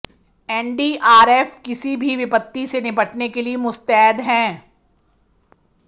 NDRF किसी भी विपत्ति से निपटने के लिए मुस्तैद हैं